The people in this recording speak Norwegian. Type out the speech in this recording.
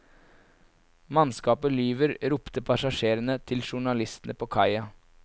Mannskapet lyver, ropte passasjerene til journalistene på kaia.